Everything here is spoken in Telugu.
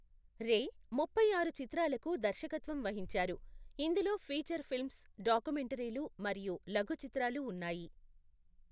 రే ముప్పై ఆరు చిత్రాలకు దర్శకత్వం వహించారు, ఇందులో ఫీచర్ ఫిల్మ్స్, డాక్యుమెంటరీలు మరియు లఘు చిత్రాలు ఉన్నాయి.